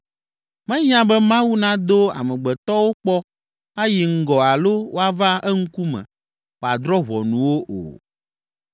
Mehiã be Mawu nado amegbetɔwo kpɔ ayi ŋgɔ alo woava eŋkume wòadrɔ̃ ʋɔnu wo o.